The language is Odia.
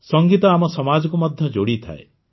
ସଂଗୀତ ଆମ ସମାଜକୁ ମଧ୍ୟ ଯୋଡ଼ିଥାଏ